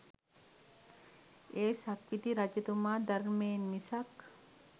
ඒ සක්විති රජතුමා ධර්මයෙන් මිසක්